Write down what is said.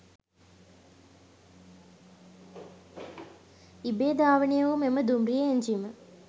ඉබේ ධාවනයවූ මෙම දුම්රිය එංජිම